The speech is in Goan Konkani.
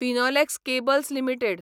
Finolex cables limited